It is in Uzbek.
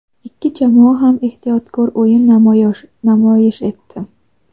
ikki jamoa ham ehtiyotkor o‘yin namoyish etdi.